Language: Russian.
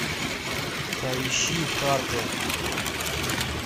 поищи харпер